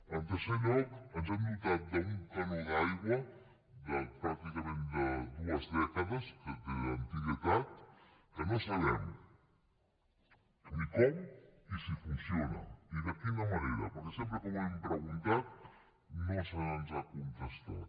en tercer lloc ens hem dotat d’un canó d’aigua de pràcticament dues dècades d’antiguitat que no sabem ni com i si funciona i de quina manera perquè sempre que ho hem preguntat no se’ns ha contestat